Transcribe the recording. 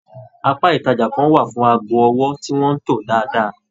Apá ìtajà kàn wà fún aago ọwọ tí wọn to dáadáa.